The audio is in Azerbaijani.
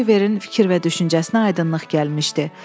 Oliverin fikir və düşüncəsinə aydınlıq gəlmişdi.